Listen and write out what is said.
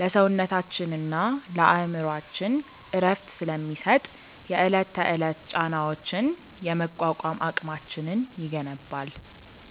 ለሰውነታችንና ለአእምሮአችን እረፍት ስለሚሰጥ፣ የዕለት ተዕለት ጫናዎችን የመቋቋም አቅማችንን ይገነባል።